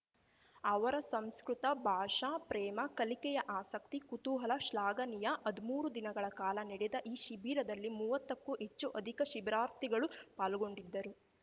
ಅವರ ಸಂಸ್ಕೃತ ಭಾಷಾ ಪ್ರೇಮ ಕಲಿಕೆಯ ಆಸಕ್ತಿ ಕುತೂಹಲ ಶ್ಲಾಘನೀಯ ಹದ್ಮೂರು ದಿನಗಳ ಕಾಲ ನಡೆದ ಈ ಶಿಬಿರದಲ್ಲಿ ಮೂವತ್ತಕ್ಕೂ ಅಧಿಕ ಶಿಬಿರಾರ್ಥಿಗಳು ಪಾಲ್ಗೊಂಡಿದ್ದರು